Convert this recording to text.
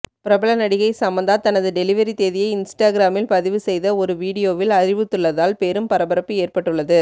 பிரபல நடிகை சமந்தா தனது டெலிவரி தேதியை இன்ஸ்டாகிராமில் பதிவு செய்த ஒரு வீடியோவில் அறிவித்துள்ளதால் பெரும் பரபரப்பு ஏற்பட்டுள்ளது